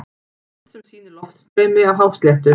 Mynd sem sýnir loftstreymi af hásléttu.